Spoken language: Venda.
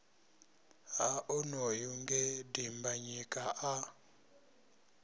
ha onoyu nge dimbanyika a